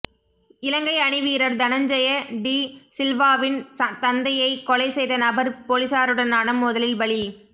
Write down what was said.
இலங்கை அணிவீரர் தனஞ்செய டி சில்வாவின் தந்தையை கொலை செய்த நபர் பொலிஸாருடனான மோதலில் பலி